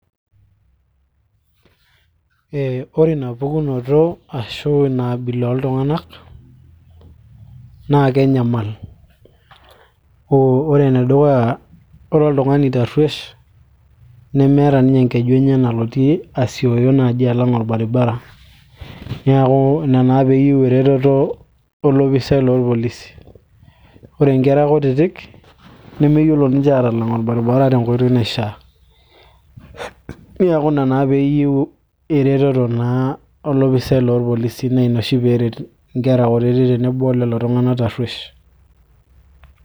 ee ore inapukunoto ashu ina abila oltung'anak naa kenyamal ore enedukuya ore oltung'ani tarruesh nemeeta ninye enkeju enye nalotie asioyo naaji alang orbaribara niaku ina naa peeyieu eretoto olopisai lorpolisi ore inkera kutitik nemeyiolo ninche atalang orbaribara tenkoitoi naishaa niaku ina naa peyieu eretoto naa olopisai lorpolisi naa ina oshi peeret inkera kutitik tenebo olelo tung'anak tarruesh.